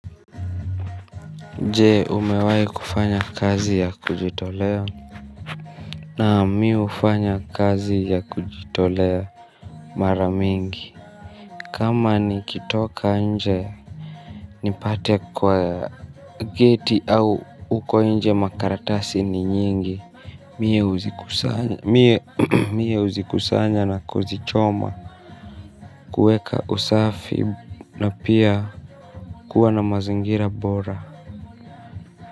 Je umewai kufanya kazi ya kujitolea naam mi ufanya kazi ya kujitolea maramingi kama nikitoka nje nipate kwa geti au huko nje makaratasi ni nyingi mie huzikusanya na kuzichoma kueka usafi na pia kuwa na mazingira bora.